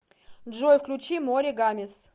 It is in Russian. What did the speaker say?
джой включи море гамес